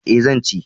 E, zan ci.